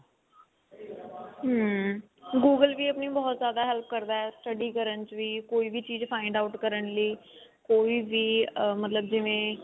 ਹਮ google ਵੀ ਆਪਣੀ ਬਹੁਤ ਜ਼ਿਆਦਾ help ਕਰਦਾ study ਕਰਨ ਚ ਵੀ ਕੋਈ ਵੀ file find out ਕਰਨ ਚ ਵੀ ਕੋਈ ਵੀ ਅਹ ਮਤਲਬ ਜਿਵੇਂ